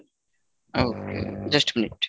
okay just minute,